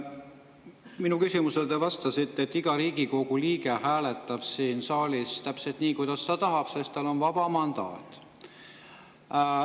Minu küsimusele te vastasite, et iga Riigikogu liige hääletab siin saalis täpselt nii, kuidas ta tahab, sest tal on vaba mandaat.